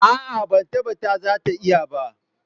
A'a, ban tabbata za ta iya ba